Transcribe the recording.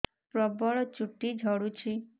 ପ୍ରବଳ ଚୁଟି ଝଡୁଛି